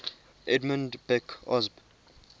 edmund beck osb